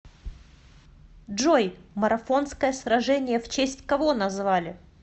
джой марафонское сражение в честь кого назвали